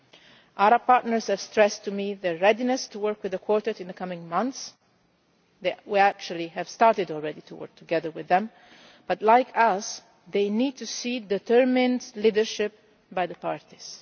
The Arab partners have stressed to me their readiness to work with the Quartet in the coming months. We have already started to work together with them but, like us, they need to see determined leadership by the